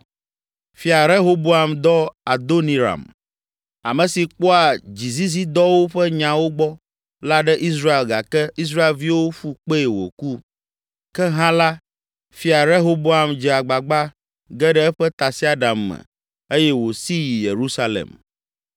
Fia Rehoboam dɔ Adoniram, ame si kpɔa dzizizidɔwo ƒe nyawo gbɔ la ɖe Israel gake Israelviwo ƒu kpee wòku. Ke hã la Fia Rehoboam dze agbagba ge ɖe eƒe tasiaɖam me eye wòsi yi Yerusalem.